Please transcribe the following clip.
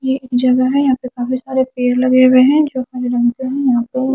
ये एक जगह है यहां पे काफी सारे पेड़ लगे हुए हैं जो मैंने यहां पे--